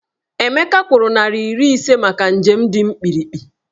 Emeka kwụrụ naịra iri ise maka njem dị mkpirikpi.